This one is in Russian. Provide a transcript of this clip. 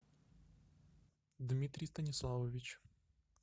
дмитрий станиславович